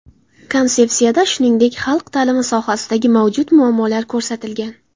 Konsepsiyada shuningdek, xalq ta’limi sohasidagi mavjud muammolar ko‘rsatilgan.